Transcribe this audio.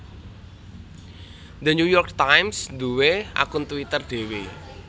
The New York Times duwe akun Twitter dewe